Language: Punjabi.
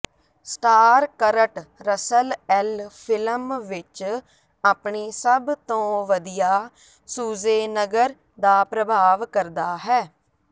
ਸਟਾਰ ਕਰਟ ਰਸਲ ਐਲ ਫਿਲਮ ਵਿਚ ਆਪਣੀ ਸਭ ਤੋਂ ਵਧੀਆ ਸ਼ੂਜ਼ੇਨਗਰ ਦਾ ਪ੍ਰਭਾਵ ਕਰਦਾ ਹੈ